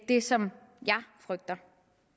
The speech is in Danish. det som jeg frygter